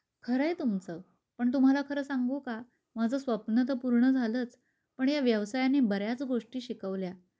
खरय तुमच पण तुम्हाला खर सांगू का माझ स्वप्न तर पूर्ण झालंच पण या व्यवसायाने बऱ्याच गोष्टी शिकवल्या.